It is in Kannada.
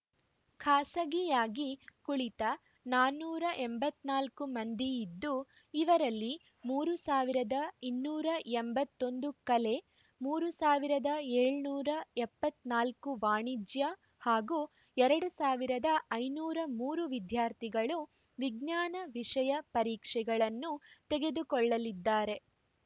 ಖಾಸಗಿಯಾಗಿ ಕುಳಿತ ನಾನೂರ ಎಂಬತ್ತ್ ನಾಲ್ಕು ಮಂದಿ ಇದ್ದು ಇವರಲ್ಲಿ ಮೂರ್ ಸಾವಿರದ ಇನ್ನೂರ ಎಂಬತ್ತ್ ಒಂದು ಕಲೆ ಮೂರ್ ಸಾವಿರದ ಏಳುನೂರ ಎಪ್ಪತ್ತ್ ನಾಲ್ಕು ವಾಣಿಜ್ಯ ಹಾಗೂ ಎರಡ್ ಸಾವಿರದ ಐನೂರ ಮೂರು ವಿದ್ಯಾರ್ಥಿಗಳು ವಿಜ್ಞಾನ ವಿಷಯ ಪರೀಕ್ಷೆಗಳನ್ನು ತೆಗೆದುಕೊಳ್ಳಲಿದ್ದಾರೆ